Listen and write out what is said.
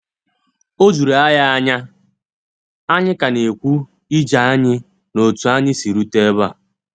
O juru ànyị ànyà! ànyị ka ná ekwu ije anyị ná otú anyị siri rute ebe a.